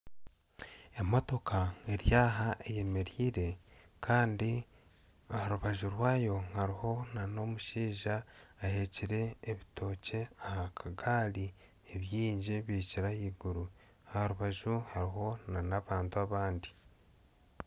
Emootoka eri aha eyemereire kandi aharubaju rwayo hariho n'omushaija ahekire ebitookye aha kagaari nibingi bihikire ahaiguru aharubaju hariho na n'abantu abandi.